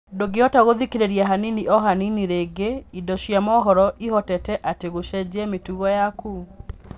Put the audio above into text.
Ndũngĩvota gũthikĩrĩria Hanini o hanini rĩngĩ: Indo cia mohoro ivotete atĩa gucejia mĩtugo yaku?